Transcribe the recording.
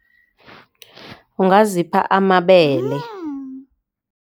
Ungazipha amabele.